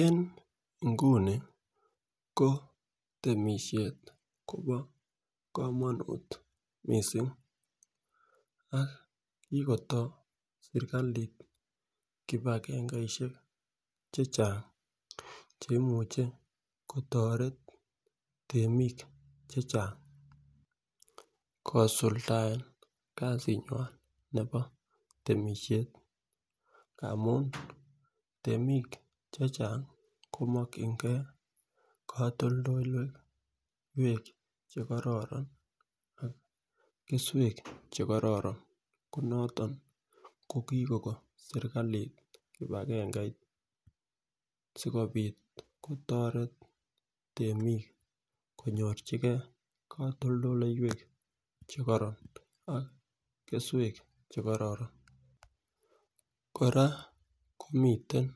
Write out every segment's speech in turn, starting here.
En inguni ko temishet Kobo komonut missing ak kikotoret sirkalit kipagengeishek chechang cheimuche kotoret temik chechang kisuldaen kasinywan nebo temishet amun temik chechang komokingee kotoldoloiwek chekororon ak keswek chekororon ko noton koi Koko sirkalit kipangeit sikopit kotoret temik konyochigee kotoldoloiwek chekoron ak keswek chekororon. Koraa komiten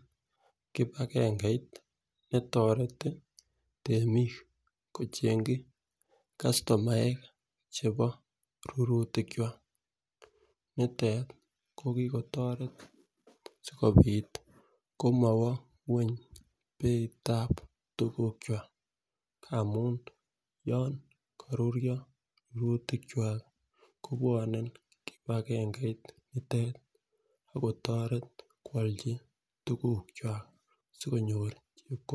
kipagengeit netoreti temik kochemgi kastomaek chebo rurutik kwak nitet ko kikotoret sikopit komowo ngweny beitab rurutik kwak kobwone kipangeit nitet ak kotoret kwolji tukuk kwak sikonyor chepkondok.